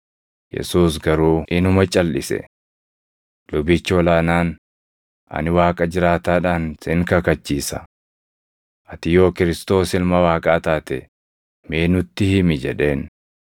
Yesuus garuu inuma calʼise. Lubichi ol aanaan, “Ani Waaqa jiraataadhaan sin kakachiisa: Ati yoo Kiristoos Ilma Waaqaa taate mee nutti himi” jedheen.